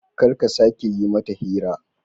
Kar ka sake yi mata hira.